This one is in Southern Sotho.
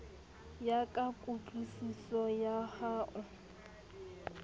ya ka kutlwisiso ya hao